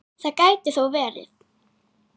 Það gæti þó verið.